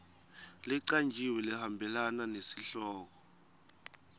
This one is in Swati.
lecanjiwe lehambelana nesihloko